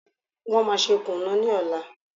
Wọ́n máa ṣe kùnú ní ọ̀la.